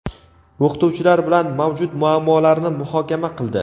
o‘qituvchilar bilan mavjud muammolarni muhokama qildi.